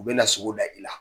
U bɛ na sogo da i la